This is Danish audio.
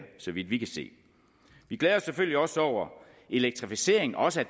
så vidt vi kan se vi glæder os selvfølgelig også over at elektrificeringen også